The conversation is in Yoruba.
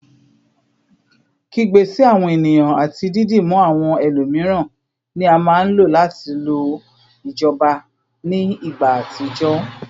Kigbe si awọn eniyan ati didimu awọn ẹlomiran ni a maa n lo lati lo ijọba ni igba atijọ